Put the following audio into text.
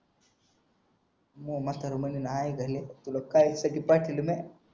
ना नाय म्हातारा बघीन हाय घरी तुला काहीतरी टाकले ना